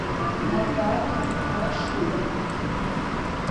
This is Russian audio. наталья рашидовна